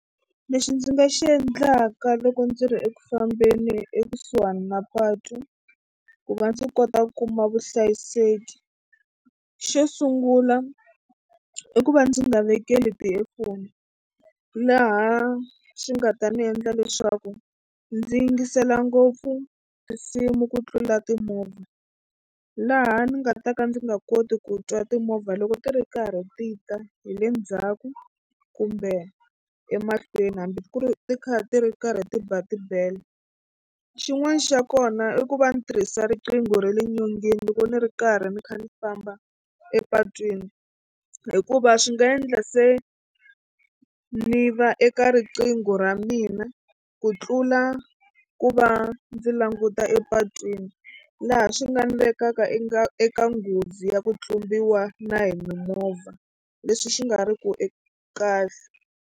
Lexi ndzi nga xi endlaka loko ndzi ri eku fambeni ekusuhani na patu ku va ndzi kota ku kuma vuhlayiseki xo sungula i ku va ndzi nga vekeli ti-earphone laha swi nga ta ni endla leswaku ndzi yingisela ngopfu tinsimu ku tlula timovha laha ni nga ta ka ndzi nga koti ku twa timovha loko ti ri karhi ti ta hi le ndzhaku kumbe emahlweni hambi ku ri ti kha ti ri karhi ti ba tibele. Xin'wana xa kona i ku va ni tirhisa riqingho ra le nyongeni loko ni ri karhi ni kha ni famba epatwini hikuva swi nga endla se ni va eka riqingho ra mina ku tlula ku va ndzi languta epatwini laha swi nga ni vekaka eka eka nghozi ya ku tlumbiwa na hi mimovha leswi swi nga riki kahle.